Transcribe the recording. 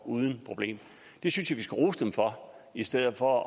uden problemer det synes jeg vi skal rose dem for i stedet for